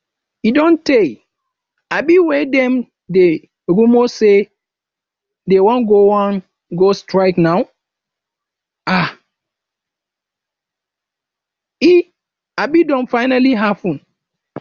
e don tey um wey dem dey rumor say dey wan go wan go strike now um e um don finally happen